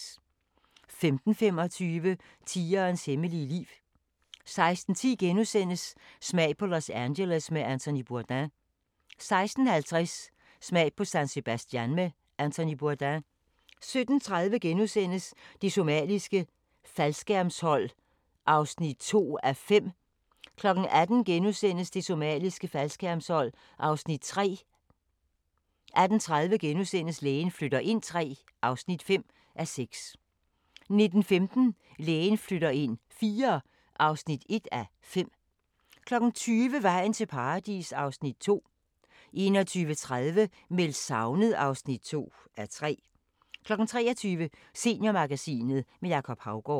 15:25: Tigerens hemmelige liv 16:10: Smag på Los Angeles med Anthony Bourdain * 16:50: Smag på San Sebastian med Anthony Bourdain 17:30: Det somaliske faldskærmshold (2:5)* 18:00: Det somaliske faldskærmshold (Afs. 3)* 18:30: Lægen flytter ind III (5:6)* 19:15: Lægen flytter ind IV (1:5) 20:00: Vejen til Paradis (Afs. 2) 21:30: Meldt savnet (2:3) 23:00: Seniormagasinet – med Jacob Haugaard